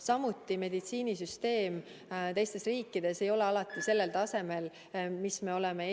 Samuti ei ole meditsiinisüsteem teistes riikides alati sellel tasemel, millega me oleme